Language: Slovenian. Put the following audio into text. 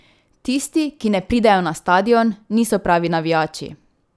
Tisti, ki ne pridejo na stadion, niso pravi navijači.